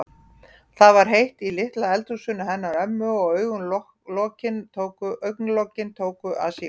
Það var heitt í litla eldhúsinu hennar ömmu og augna- lokin tóku að síga.